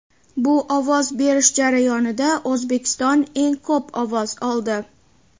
Bu ovoz berish jarayonida O‘zbekiston eng ko‘p ovoz oldi.